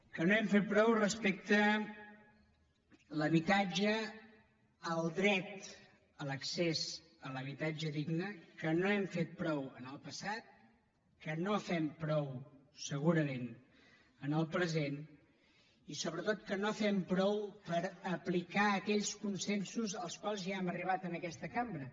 que no hem fet prou respecte a l’habitatge al dret a l’accés a l’habitatge digne que no hem fet prou en el passat que no fem prou segurament en el present i sobretot que no fem prou per aplicar aquells consensos als quals ja hem arribat en aquesta cambra